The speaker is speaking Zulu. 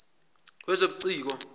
wezobuciko